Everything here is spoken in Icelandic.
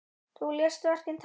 Þú lést verkin tala.